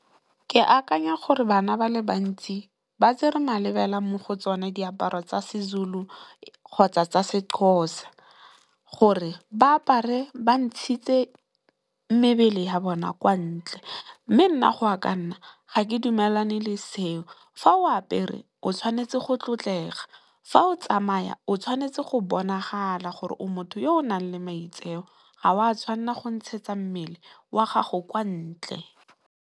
Ke akanya gore bana ba le bantsi ba tsere malebelela mo go tsone diaparo tsa Sezulu kgotsa tsa Sexhosa gore ba apare ba ntshitse mebele ya bona kwa ntle. Mme, nna go ya ka nna ga ke dumelane le seo fa o apere o tshwanetse go tlotlega, fa o tsamaya o tshwanetse go bonagala gore o motho yo o nang le maitseo ga o a tshwanela go ntshetsa mmele wa gago kwa ntle.